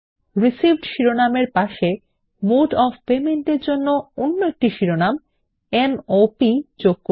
received শিরোনামের পাশে mode of payment এর জন্য অন্য একটি শিরোনাম m o প যোগ করুন